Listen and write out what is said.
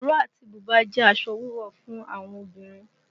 Ìró àti bùbá jẹ́ aṣọ wíwọ̀ fún àwọn obìnrin